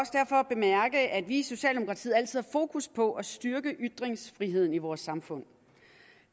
jeg at vi i socialdemokratiet altid fokus på at styrke ytringsfriheden i vores samfund